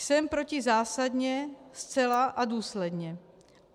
Jsem proti zásadně, zcela a důsledně.